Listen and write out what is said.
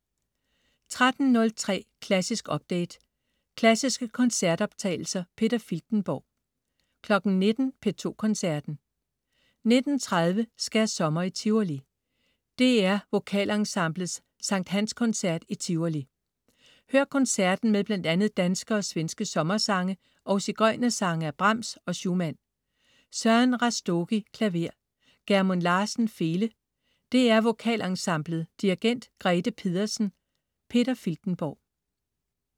13.03 Klassisk update. Klassiske koncertoptagelser. Peter Filtenborg 19.00 P2 Koncerten. 19.30 Skærsommer i Tivoli. DR VokalEnsemblets Skt. Hans-koncert i Tivoli. Hør koncerten med bl.a. danske og svenske sommersange og sigøjnersange af Brahms og Schumann. Søren Rastogi, klaver. Gjermund Larsen, fele. DR VokalEnsemblet. Dirigent: Grete Pedersen. Peter Filtenborg